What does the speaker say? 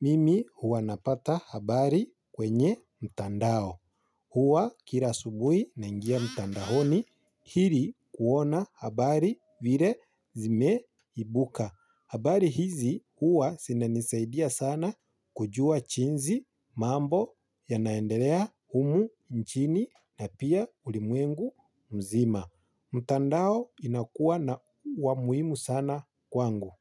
Mimi huwa napata habari kwenye mtandao. Huwa kila asubui na ingia mtandaoni hili kuona habari vile zime ibuka. Habari hizi huwa zinanisaidia sana kujua jinsi mambo ya naendelea humu nchini na pia ulimwengu mzima. Mtandao inakuwa na wa muhimu sana kwangu.